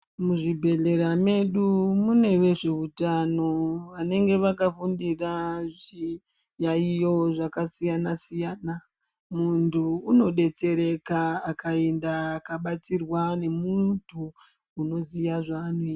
Muzvibhedhlera medu mune vezveutano vanenge vakafundira zviyaiyo zvakasiyana-siyana. Muntu unodetsereka akaenda akabatsirwa nemuntu unoziya zvanoita.